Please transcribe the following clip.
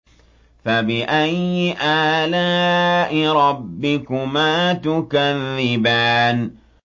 فَبِأَيِّ آلَاءِ رَبِّكُمَا تُكَذِّبَانِ